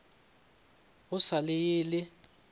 go sa le ye le